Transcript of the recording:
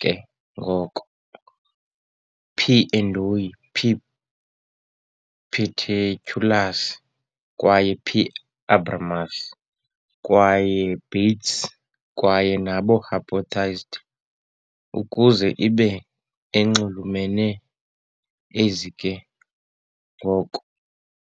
ke ngoko "P. endoi", "P. paterculus", kwaye "P. abramus", kwaye Bates kwaye nabo hypothesized ukuze ibe enxulumene ezi ke ngoko.